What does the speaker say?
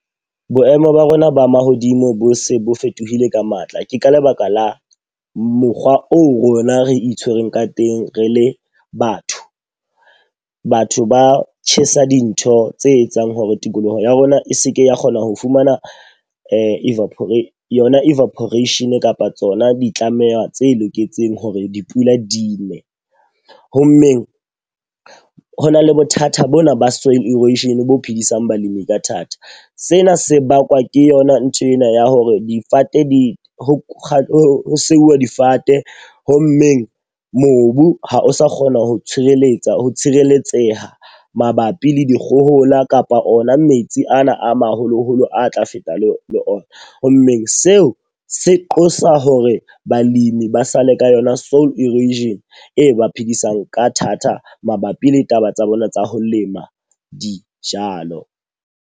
Boemo ba rona ba mahodimo bo se bo fetohile ka matla. Ke ka lebaka la mokgwa oo rona re itshwereng ka teng re le batho. Batho ba tjhesa dintho tse etsang hore tikolohong ya rona e seke ya kgona ho fumana evaporates yona evaporation kapa tsona di tlameha tse loketseng hore dipula di ne. Ho mmeng ho na le bothata bona ba soil erosion bo phedisang balemi ka thata. Sena se bakwa ke yona nthwena ya hore difate di ho ho seuwa difate. Ho mmeng mobu ha o sa kgona ho tshireletsa ho tshireletseha mabapi le dikgohola kapa ona metsi ano ama haholoholo a tla feta le le ona. Ho mmeng seo se qosa hore balemi ba sa le ka yona soil erosion e ba phedisang ka thata mabapi le taba tsa bona tsa ho lema dijalo.